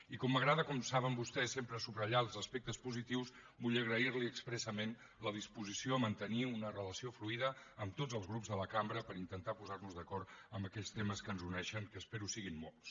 i com m’agrada com vostès saben sempre subratllar els aspectes positius vull agrair li expressament la disposició a mantenir una relació fluida amb tots els grups de la cambra per intentar posar nos d’acord en aquells temes que ens uneixen que espero que en siguin molts